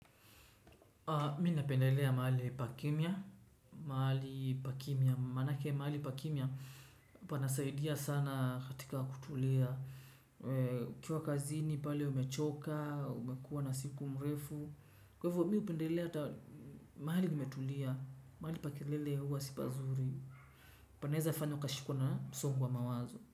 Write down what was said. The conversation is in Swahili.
Mina pendelea mahali pakimya, mahali pakimia. Manake mahali pakimia panasaidia sana katika kutulia. Ukiwa kazini pale umechoka, umekuwa na siku mrefu. Kwevo mihupendelea hata mahali kumetulia, mahali pakelele huwa si pazuri. Panaeza fanya ukashikwa na msongo wa mawazo.